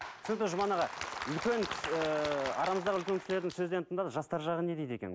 түсінікті жұман аға үлкен ыыы арамыздағы үлкен кісілердің сөзін енді тыңдадық жастар жағы не дейді екен